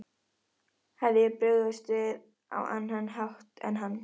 Hefði ég brugðist við á annan hátt en hann?